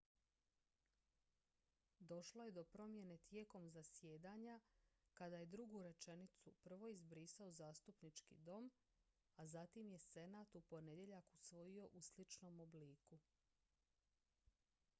došlo je do promjene tijekom zasjedanja kada je drugu rečenicu prvo izbrisao zastupnički dom a zatim je senat u ponedjeljak usvojio u sličnom obliku